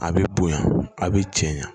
A bɛ bonya a bɛ cɛ ɲa